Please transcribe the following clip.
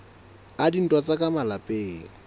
a dintwa tsa ka malapeng